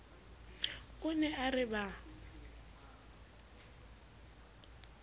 o ne a re ba